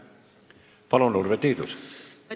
Palun, Urve Tiidus!